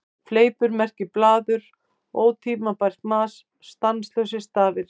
Fleipur merkir blaður, ótímabært mas, staðlausir stafir.